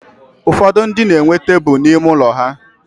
ụfọdụ ndị na-enwe tebụl n'ime ụlọ ha.